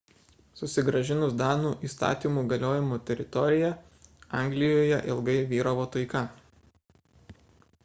susigrąžinus danų įstatymų galiojimo teritoriją anglijoje ilgai vyravo taika